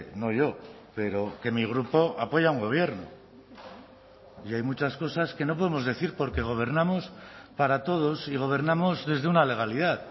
no yo pero que mi grupo apoya a un gobierno y hay muchas cosas que no podemos decir porque gobernamos para todos y gobernamos desde una legalidad